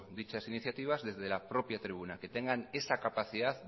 dichas iniciativas desde la propia tribuna que tengan esa capacidad